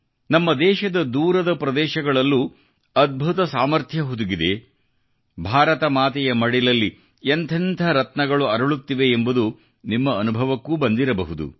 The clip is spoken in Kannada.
ನಮ್ಮ ದೇಶದದೂರದ ಪ್ರದೇಶಗಳಲ್ಲೂ ಅದ್ಭುತ ಸಾಮರ್ಥ್ಯ ಹುದುಗಿದೆ ಭಾರತ ಮಾತೆಯ ಮಡಿಲಲ್ಲಿ ಎಂತೆಂಥ ರತ್ನಗಳು ಅರಳುತ್ತಿವೆ ಎಂಬುದು ನಿಮ್ಮ ಅನುಭವಕ್ಕೂ ಬಂದಿರಬಹುದು